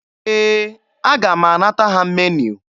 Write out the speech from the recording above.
Ee, aga m anata ha meniu.